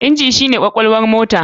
Inji shi ne kwakwalwar motar.